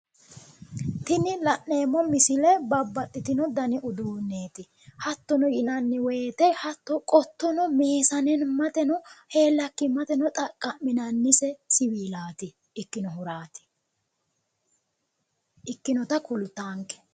Tini la'neemmo misile babbaxxitino dani uduunneeti. Hattono yinanni woyite hatto qottono meesanimmateno heellakkimmateno xaqqami'nannise siwiilaati. Ikkinohuraati. Ikkinota kultaanke.